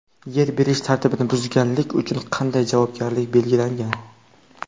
Yer berish tartibini buzganlik uchun qanday javobgarlik belgilangan?.